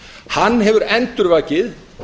hann hefur endurvakið